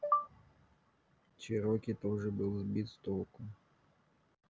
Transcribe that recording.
чероки тоже был сбит с толку